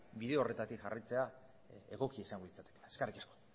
bide horretatik jarraitzea egokia izango litzatekeela eskerrik asko